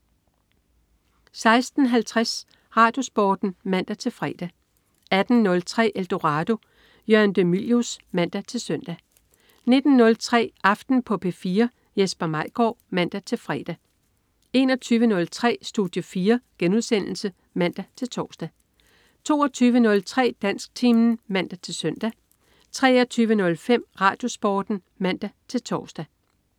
16.50 RadioSporten (man-fre) 18.03 Eldorado. Jørgen de Mylius (man-søn) 19.03 Aften på P4. Jesper Maigaard (man-fre) 21.03 Studie 4* (man-tors) 22.03 Dansktimen (man-søn) 23.05 RadioSporten (man-tors)